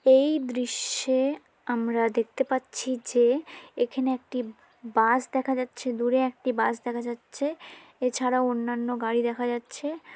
এই দৃশ্যে-এ আমরা দেখতে পাচ্ছি যে এখানে একটি ব বাস দেখা যাচ্ছে। দূরে একটি বাস দেখা যাচ্ছে। এছাড়া অন্যান্য গাড়ি দেখা যাচ্ছে।